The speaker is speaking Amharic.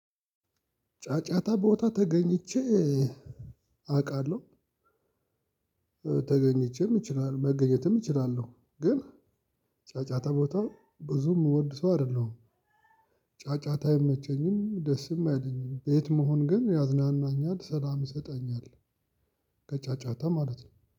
ጫጫታ ቦታ ተገኝቼ አውቃለሁ ተገኝቼም እችላለሁ መገኘትም እችላለሁ ግን ጫጫታ ቦታ ብዙ እምወድ ሰው አይደለሁም። ጫጫታ አይመቸኝም ደስም አይለኝም ቤት መሆን ግን ያዝናናኛል ሰላም ይሰጣኛል። ከጫጫታ ማለት ነው